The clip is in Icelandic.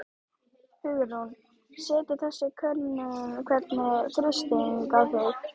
Hugrún: Setur þessi könnun einhvern þrýsting á þig?